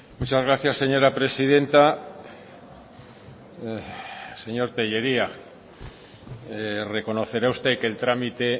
muchas gracias señora presidenta señor tellería reconocerá usted que el trámite